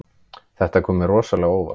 Þetta kom mér rosalega á óvart